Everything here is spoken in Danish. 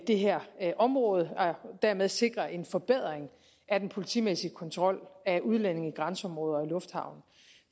det her område og dermed sikre en forbedring af den politimæssige kontrol af udlændinge i grænseområder og lufthavne